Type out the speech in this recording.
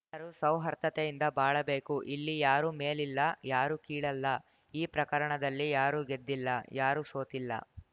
ರೂ ಸೌಹಾರ್ದತೆಯಿಂದ ಬಾಳಬೇಕು ಇಲ್ಲಿ ಯಾರೂ ಮೇಲಿಲ್ಲ ಯಾರೂ ಕೀಳಲ್ಲ ಈ ಪ್ರಕರಣದಲ್ಲಿ ಯಾರೂ ಗೆದ್ದಿಲ್ಲ ಯಾರೂ ಸೋತ್ತಿಲ್ಲ